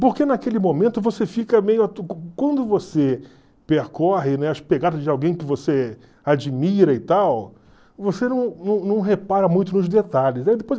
Porque naquele momento você fica meio... Quando você percorre, né, as pegadas de alguém que você admira e tal, você não não não repara muito nos detalhes.